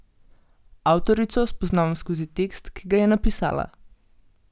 Avtorico spoznavam skozi tekst, ki ga je napisala.